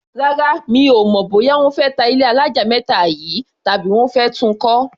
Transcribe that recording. Rárá, mi ò mọ̀ bóyá wọ́n fẹ́ ta ilé alájà méta yìí, tàbí wọ́n fẹ́ tun kọ́.